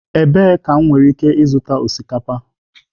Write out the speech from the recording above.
Ebee ka m nwere ike ịzụta osikapa?